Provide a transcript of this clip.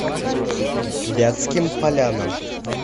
вятским полянам